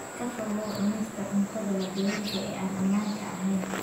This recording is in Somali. Ka fogow cunista cuntada waddooyinka ee aan ammaanka ahayn.